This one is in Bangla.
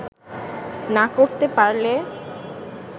না করতে পারলে